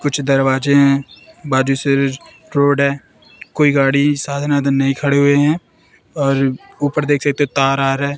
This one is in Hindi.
कुछ दरवाजे हैं बाजू से रोड है कोई गाड़ी साधन वाधन नहीं खड़े हुए हैं और ऊपर देख सकते हो तार आ रहा है।